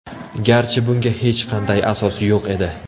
Garchi bunga hech qanday asos yo‘q edi.